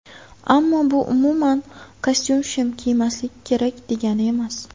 Ammo bu umuman kostyum-shim kiymaslik kerak degani emas.